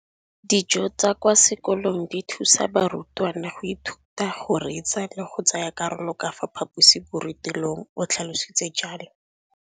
Dijo tsa kwa sekolong dithusa barutwana go ithuta, go reetsa le go tsaya karolo ka fa phaposiborutelong, o tlhalositse jalo.